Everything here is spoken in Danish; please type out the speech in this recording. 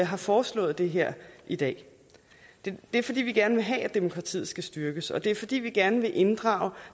har foreslået det her i dag det er fordi vi gerne vil have at demokratiet skal styrkes og det er fordi vi gerne vil inddrage